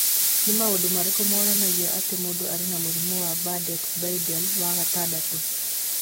Nĩ maũndũ marĩkũ monanagia atĩ mũndũ arĩ na mũrimũ wa Bardet-Biedl wa gatandatũ?